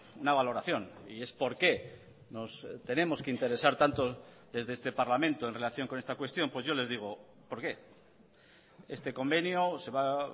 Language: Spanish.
una valoración y es por qué nos tenemos que interesar tanto desde este parlamento en relación con esta cuestión pues yo les digo por qué este convenio se va a